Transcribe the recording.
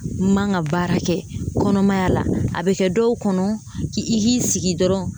N man ka baara kɛ kɔnɔmaya la a bɛ kɛ dɔw kɔnɔ ki i k'i sigi dɔrɔn